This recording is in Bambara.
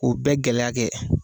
O bɛɛ gɛlɛya kɛ